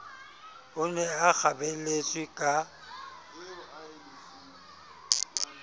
o ne a kgabelletswe ka